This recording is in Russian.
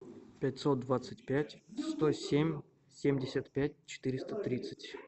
пятьсот двадцать пять сто семь семьдесят пять четыреста тридцать